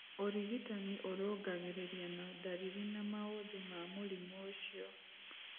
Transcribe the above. Ũrigitani ũrũngagĩriria na ndariri na maũthĩ ma mũrimũ ũcio.